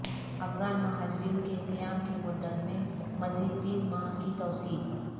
افغان مہاجرین کے قیام کی مدت میں مزید تین ماہ کی توسیع